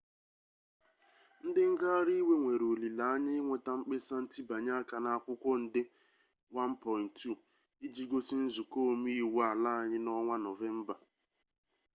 ndi ngaghari iwe nwere olile-anye inweta mkpesa ntibanye aka n'akwukwo nde 1.2 iji gosi nzuko ome-iwu ala-anyi n'onwa novemba